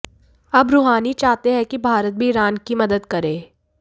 अब रूहानी चाहते हैं कि भारत भी ईरान की मदद करे